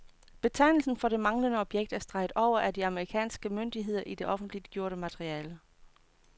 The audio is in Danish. Betegnelsen for det manglende objekt er streget over af de amerikanske myndigheder i det offentliggjorte materiale.